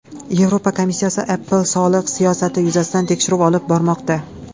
Yevropa komissiyasi Apple soliq siyosati yuzasidan tekshiruv olib bormoqda.